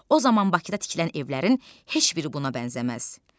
O zaman Bakıda tikilən evlərin heç biri buna bənzəməz.